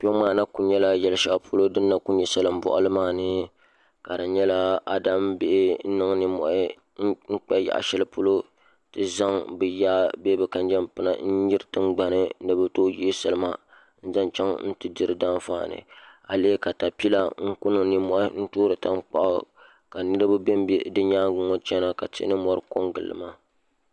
Kpɛ ŋo maa na kuli nyɛla luɣu shɛli polo din na ku nyɛ salin boɣali maa ni ka di nyɛla adam bihi n niŋ nimmohi n kpa yaɣa shɛli polo n ti zaŋ bi yaa bee bi kanjɛŋ pina n nyiri tingbani ni bi tooi yihi salima n zaŋ chɛŋ n ti di di daan faani a lihi katapila n ku niŋ nimmohi n toori tankpaɣu ka niraba bɛnbɛ di nyaangi ŋo chɛna ka tihi ni mori ko n giliba